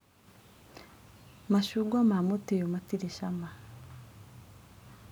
Macungwa ma mũtĩ ũyũ matirĩ cama.